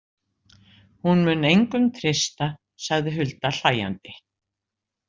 Hún mun engum treysta, sagði Hulda hlæjandi.